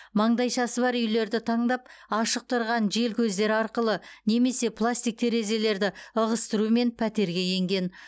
маңдайшасы бар үйлерді таңдап ашық тұрған желкөздер арқылы немесе пластик терезелерді ығыстырумен пәтерге енген